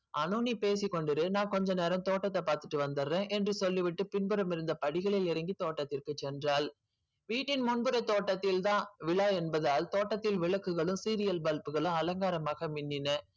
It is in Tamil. அனு நீ பேசி கொண்டிரு நான் கொஞ்ச நேரம் தோட்டத்தை பார்த்துட்டு வந்துற என்று சொல்லி விட்டு பின்புறம் இருந்த படிகளில் இறங்கி தோட்டத்துக்கு சென்றாள். வீட்டின் முன்புற தோட்டத்தில் தான் விழா என்பதால் தோட்டத்தில் விளக்குகளும் serial bulb களும் அலங்காரமாக மின்னின